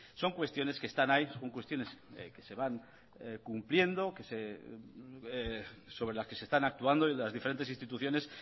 son cuestiones que están ahí son cuestión que se van cumpliendo sobre las que se están actuando desde las diferentes instituciones